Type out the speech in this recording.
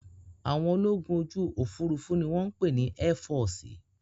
Àwọn ológun ojú òfuurufú ni wọ́n ń pè ní ẹ́fọọ̀sì